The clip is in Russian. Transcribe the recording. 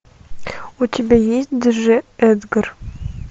у тебя есть дж эдгар